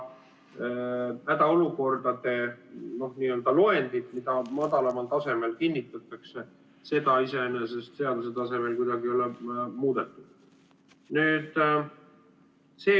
Hädaolukordade loendit, mida madalamal tasemel kinnitatakse, iseenesest seaduse tasemel kuidagi ei ole muudetud.